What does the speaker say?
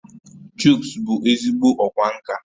Chuks bụ ezigbo ọkwá nkà